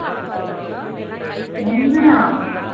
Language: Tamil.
உண்மையா.